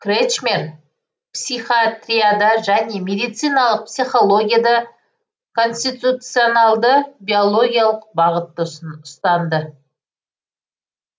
кречмер психиатрияда және медициналық психологияда конституционалды биологиялық бағытты ұстанды